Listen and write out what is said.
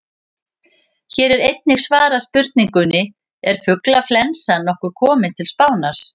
Hér er einnig svarað spurningunni: Er fuglaflensan nokkuð komin til Spánar?